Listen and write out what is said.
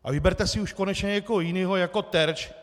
A vyberte si už konečně někoho jiného jako terč.